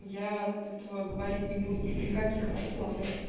и я от этого говорить не буду ни при каких раскладах